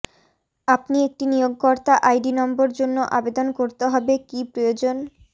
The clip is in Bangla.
আপনি একটি নিয়োগকর্তা আইডি নম্বর জন্য আবেদন করতে হবে কি প্রয়োজন